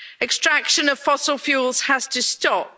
Extraction of fossil fuels has to stop.